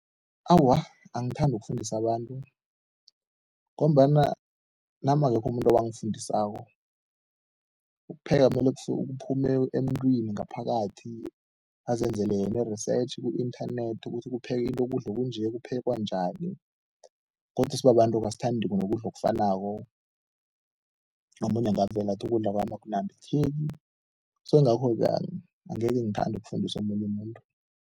Awa, angithandi ukufundisa abantu ngombana nami akekho umuntu owangifundisako. Ukupheka mele kuphume emntwini ngaphakathi, azenzela yena i-research ku-inthanethi ukuthi ukudla okunje kuphekwa njani godu sibabantu asithandi nokudla okufanako, omunye angavela athi ukudla kwami akunambitheki so ingakho-ke angeke ngithande ukufundisa omunye umuntu.